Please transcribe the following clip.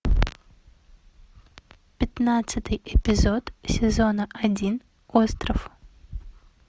пятнадцатый эпизод сезона один остров